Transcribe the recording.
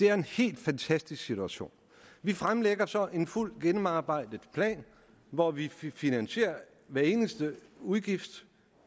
er en helt fantastisk situation vi fremlægger så en fuldt gennemarbejdet plan hvor vi finansierer hver eneste udgift